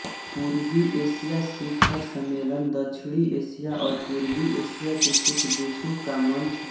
पूर्वी एशिया शिखर सम्मेलन दक्षिणी एशिया और पूर्वी एशिया के कुछ देशों का मंच है